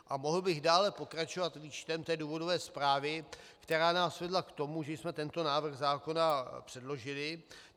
A mohl bych dále pokračovat výčtem té důvodové zprávy, která nás vedla k tomu, že jsme tento návrh zákona předložili.